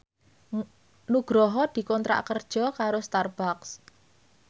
Nugroho dikontrak kerja karo Starbucks